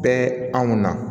Bɛ anw na